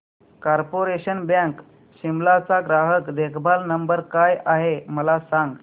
corporation bank Shimla चा ग्राहक देखभाल नंबर काय आहे मला सांग